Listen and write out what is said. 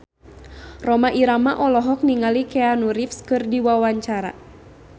Rhoma Irama olohok ningali Keanu Reeves keur diwawancara